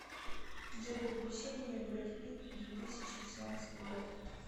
джой приключения бретт питт две тысячи шестнадцатый год